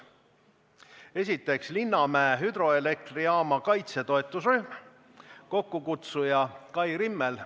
Esiteks, Linnamäe hüdroelektrijaama kaitse toetusrühm, kokkukutsuja Kai Rimmel.